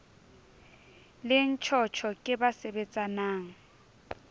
le ntjhotjho ke ba sebetsanang